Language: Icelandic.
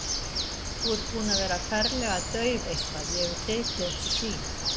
Þú ert búin að vera ferlega dauf eitthvað, ég hef tekið eftir því.